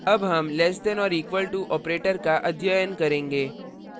अब हम less than or equal to operator का अध्ययन करेंगे